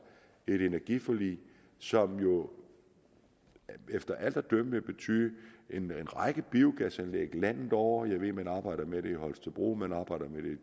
et energiforlig som jo efter alt at dømme vil betyde en række biogasanlæg landet over jeg ved at man arbejder med det i holstebro man arbejder med det